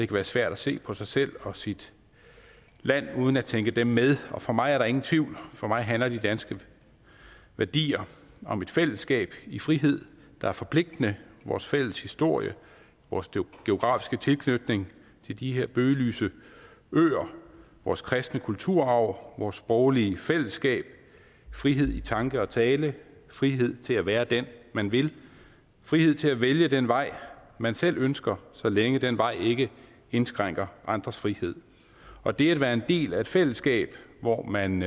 være svært at se på sig selv og sit land uden at tænke dem med for mig er der ingen tvivl for mig handler de danske værdier om et fællesskab i frihed der er forpligtende vores fælles historie vores geografiske tilknytning til de her bøgelyse øer vores kristne kulturarv vores sproglige fællesskab frihed i tanke og tale frihed til at være den man vil frihed til at vælge den vej man selv ønsker så længe den vej ikke indskrænker andres frihed og det er at være en del af et fællesskab hvor man